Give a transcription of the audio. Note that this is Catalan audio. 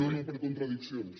no no per contradiccions